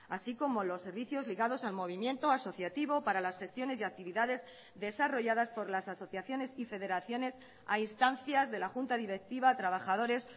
así como los servicios ligados al movimiento asociativo para las gestiones y actividades desarrolladas por las asociaciones y federaciones a instancias de la junta directiva trabajadores